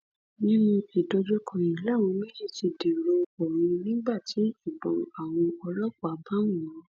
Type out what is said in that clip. nínú ìdojúkọ yìí làwọn méjì ti dèrò ọrun nígbà tí ìbọn àwọn ọlọpàá bá wọn